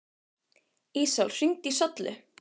Ísól, hringdu í Söllu.